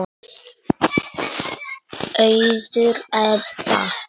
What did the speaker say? Auður Ebba.